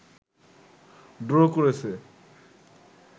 draw করেছে